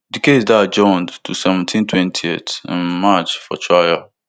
di case dey adjourned to seventeen twentyth um march for trial